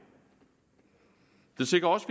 det sikrer også